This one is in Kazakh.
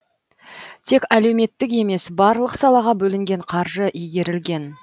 тек әлеуметтік емес барлық салаға бөлінген қаржы игерілген